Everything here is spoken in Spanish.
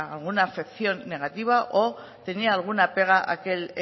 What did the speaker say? alguna acepción negativa o tenía alguna pega aquel